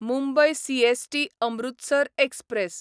Mumbai CST Amritsar express